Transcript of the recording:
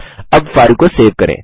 अब फाइल को सेब करें